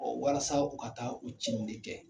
walasa u ka taa u ci in de kɛ.